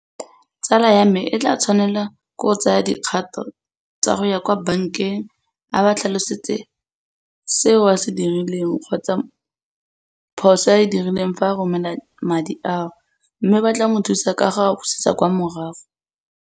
Tsala ya me e tla tshwanela ke go tsaya dikgato tsa go ya kwa bankeng a ba tlhalosetse seo a se dirileng kgotsa phoso e a e dirileng fa a romela madi a mme ba tla mo thusa ka ga o a busetsa kwa morago.